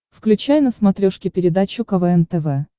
включай на смотрешке передачу квн тв